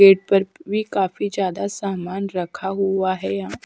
Gate पर भी काफी ज्यादा सामान रखा हुआ है। यहां --